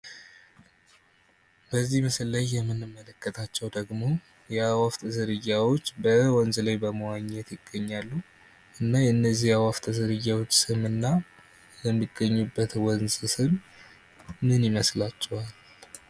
በዚህ ምስል ላይ የምንመለከታቸው ደግሞ የአዋፍት ዝርያዎች በወንዝ ላይ በመዋኘት ይገኛሉ። እና የእነዚህ የአዋፍት ዝርያዎች ስምና የሚገኙበት ወንዝ ስም ምን ይመስላችኋል?